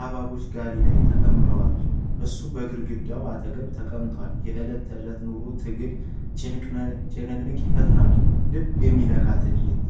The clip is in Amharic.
ሐብሐቦቹ ጋሪ ላይ ተከምረዋል። እሱም በግድግዳው አጠገብ ተቀምጧል። የዕለት ተዕለት ኑሮ ትግል ጭንቀትን ይፈጥራል። ልብ የሚነካ ትዕይንት!